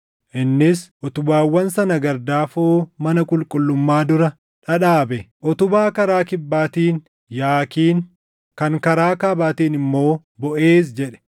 Innis utubaawwan sana gardaafoo mana qulqullummaa dura dhadhaabe. Utubaa karaa kibbaatiin “Yaakiin” kan karaa kaabaatiin immoo “Boʼeez” jedhe.